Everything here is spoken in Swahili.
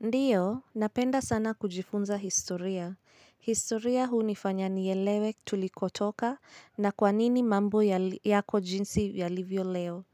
Ndiyo, napenda sana kujifunza historia. Historia huu hunifanya nielewe tulikotoka na kwa nini mambo yako jinsi yalivyo leo.